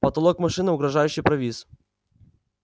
потолок машины угрожающе провис